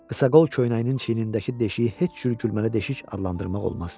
Qısaqol köynəyinin çiynindəki deşiyi heç cür gülməli deşik adlandırmaq olmazdı.